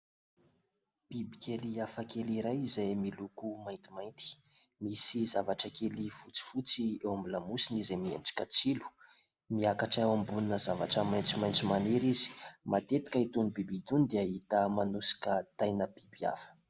Bibikely hafakely iray izay miloko maintimainty. Misy zavatra kely fotsifotsy eo amin'ny lamosiny izay miendrika tsilo. Miakatra ambonina zavatra maitsomaitso maniry izy. Matetika itony biby itony dia hita manosika taina biby hafa.